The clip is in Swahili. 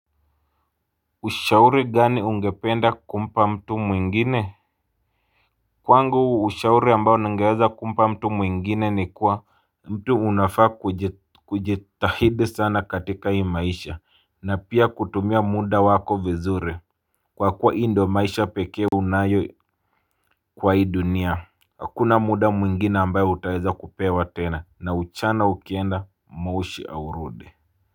Ushauri gani ungependa kumpa mtu mwingine? Kwangu ushauri ambao ningeweza kumpa mtu mwingine ni kuwa mtu unafaa kujitahidi sana katika hii maisha na pia kutumia muda wako vizuri. Kwa kuwa hii ndo maisha pekee unayo kwa hii dunia. Hakuna muda mwingine ambayo utaweza kupewa tena na ujana ukienda moshi haurudi.